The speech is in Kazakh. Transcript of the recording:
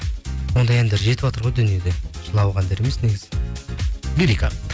ондай әндер жетіватыр ғой дүниеде жылауық әндер емес негізі лирика